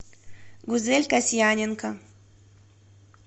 гузель касьяненко